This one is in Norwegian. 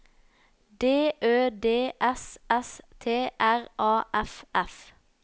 D Ø D S S T R A F F